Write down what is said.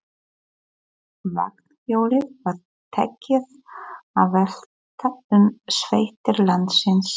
Vagnhjólið var tekið að velta um sveitir landsins.